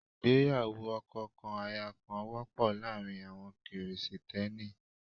Ìgbéyàwó ọkọ kan aya kan wọ́pọ̀ láàárín àwọn Krìsìtẹ́nì.